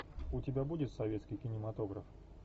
у тебя будет советский кинематограф